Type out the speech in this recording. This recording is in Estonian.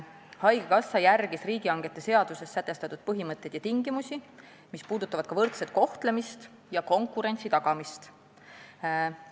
Haigekassa järgis riigihangete seaduses sätestatud põhimõtteid ja tingimusi, sh võrdse kohtlemise ja konkurentsi tagamise kohta.